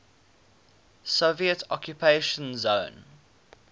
soviet occupation zone